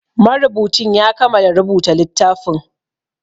Marubucin ya kamala rubuta littafin